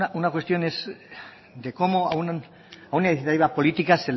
una cuestión es que cómo a una política